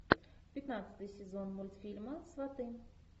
пятнадцатый сезон мультфильма сваты